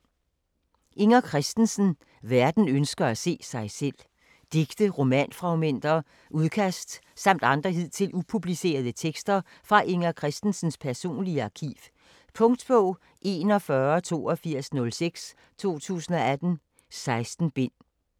Christensen, Inger: Verden ønsker at se sig selv Digte, romanfragmenter, udkast samt andre hidtil upublicerede tekster fra Inger Christensens personlige arkiv. Punktbog 418206 2018. 16 bind.